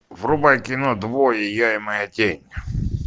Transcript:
врубай кино двое я и моя тень